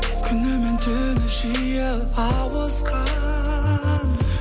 күні мен түні жиі ауысқан